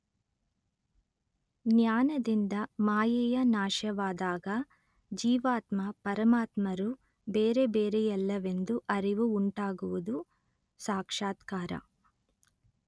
ಜ್ಞಾನದಿಂದ ಮಾಯೆಯ ನಾಶವಾದಾಗ ಜೀವಾತ್ಮ ಪರಮಾತ್ಮರು ಬೇರೆಬೇರೆಯಲ್ಲವೆಂದು ಅರಿವು ಉಂಟಾಗುವುದು ಸಾಕ್ಷಾತ್ಕಾರ